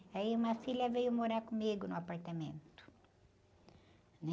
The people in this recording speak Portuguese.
Aí uma filha veio morar comigo no apartamento, né?